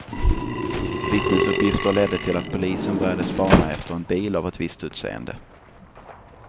Vittnesuppgifter ledde till att polisen började spana efter en bil av ett visst utseende.